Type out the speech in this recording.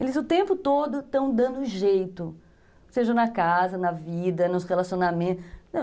Eles o tempo todo estão dando um jeito, seja na casa, na vida, nos relacionamentos.